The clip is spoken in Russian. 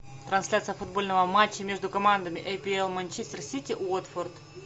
трансляция футбольного матча между командами апл манчестер сити уотфорд